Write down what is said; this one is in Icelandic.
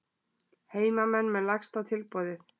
Heimamenn með lægsta tilboð